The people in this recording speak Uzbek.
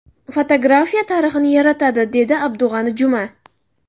Fotografiya tarixni yaratadi”, dedi Abdug‘ani Juma.